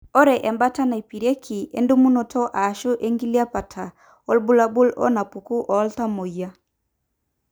Ore embaata neipirieki endumunoto ashu enkilepata oorbulabul onaapuku oltamuoyiai.